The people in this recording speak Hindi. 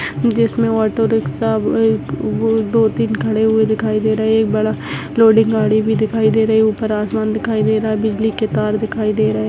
जिसमे ऑटो रिक्शा दो तीन खड़े हुए दिखाई दे रहा है एक बड़ा लोडिंग गाड़ी भी दिखाई दे रहे ऊपर आसमान दिखाई दे रहा है बिजली के तार दिखाई दे रहे हैं।